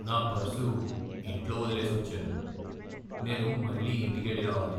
నా పర్సు ఇంట్లో వదిలేసి వచ్చాను. నేను మళ్ళీ ఇంటికెళ్ళి రావాలి.